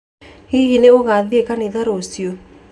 Hihi nĩ ũgathiĩ kanitha rũciũ?